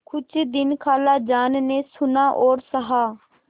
कुछ दिन खालाजान ने सुना और सहा